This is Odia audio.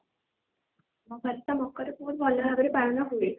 ଆମ ଘରେ ତ ମକର ବହୁତ ଭଲ ଭାବ ରେ ପାଳନ ହୁଏ